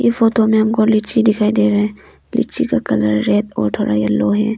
Photo में हमको लीची दिखाई दे रहे हैं लीची का कलर रेड और थोड़ा येलो है।